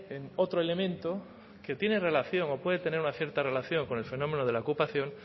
en otro elemento que tiene relación o puede tener una cierta relación con el fenómeno de la ocupación